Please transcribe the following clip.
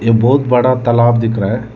एक बहुत बड़ा तालाब दिख रहा है।